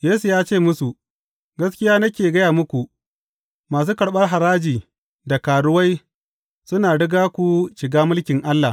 Yesu ya ce musu, Gaskiya nake gaya muku, masu karɓar haraji da karuwai suna riga ku shiga mulkin Allah.